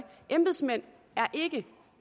embedsmænd er ikke